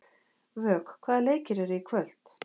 Vök, hvaða leikir eru í kvöld?